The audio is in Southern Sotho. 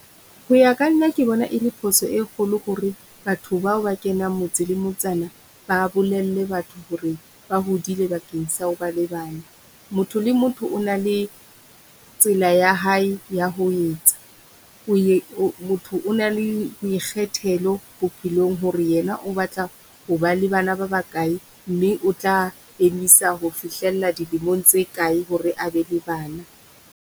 Ho ya ka nna ke bona e le phoso e kgolo hore batho bao ba kenang motse le motsana ba bolelle batho hore ba hodile bakeng sa ho ba le bana. Motho le motho o na le tsela ya hae ya ho etsa, ho ye motho o na le boikgethelo bophelong hore yena o batla ho ba le bana ba bakae mme o tla emisa ho fihlella dilemong tse kae hore a be le bana.